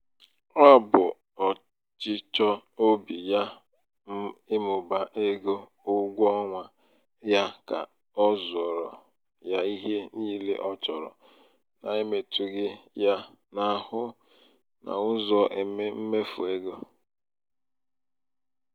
ọ bụ ọchịchọ obi ya ịmụba ego ụgwọ ọnwa ya ka ọ zuoro ya ihe niile ọ chọrọ n'emetughị ya n'ahụ n'ụzọ mmefu ego.